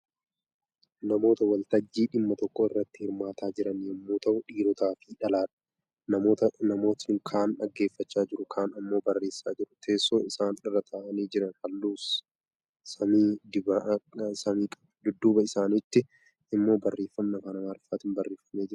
Namoota waltajjii dhimma tokko irratti hirmaataa jiran yommuu ta'u, dhiirotaa fi dhalaadha. Namoonni kaan dhaggeeffachaa jiru kaan immoo barreessaa jiru. Teessoon isaan irra taa'anii jiran Halluu samii qaba. Dudduuba isaanitti immoo barreeffamni afaan Amaariffaan barreeffamee jira.